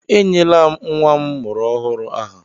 Ee, enyela m nnwa m mụrụ ọhụrụ aha